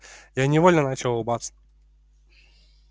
я невольно начал улыбаться